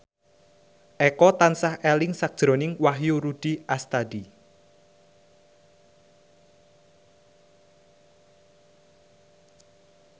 Eko tansah eling sakjroning Wahyu Rudi Astadi